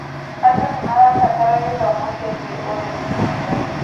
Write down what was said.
Andũ nĩmarabatara gĩthomo kĩĩgĩe ũrĩmĩ mwega